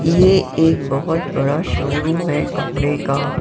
ये एक बहुत बड़ा शोरूम है कपड़े का।